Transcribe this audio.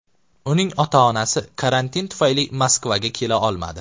Uning ota-onasi karantin tufayli Moskvaga kela olmadi.